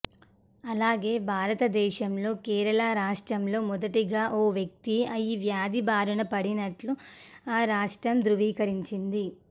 అలాగే భారతదేశంలో కేరళ రాష్ట్రంలో మొదటిగా ఓ వ్యక్తి ఈ వ్యాధి బారిన పడినట్లు ఆ రాష్ట్రం ధృవీకరించింది